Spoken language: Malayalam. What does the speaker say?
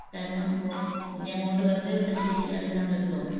കാരണം ഇനി അങ്ങോട്ട് വെറുതെ വിട്ടാൽ ശെരിയാവില്ലാന്നൊരു തോന്നൽ